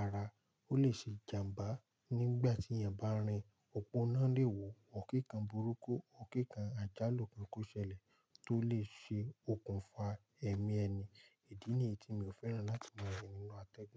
ara, ó lè ṣe ìjàmbá nígbà tí èèyàn bá rin, òpó náà lè wò, òr ki nkan burúkú, òr ki nkan àjálù kan kó ṣẹlẹ̀ tó lè ṣe okùnfà ẹ̀mí ẹni. Ìdí ni yi tí mi ò fẹ́ràn láti máa rìn nínú atẹ́gùn.